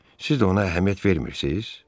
Siz də ona əhəmiyyət vermirsiz?